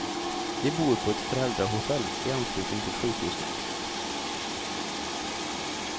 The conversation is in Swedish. De bor på ett föräldrahotell i anslutning till sjukhuset.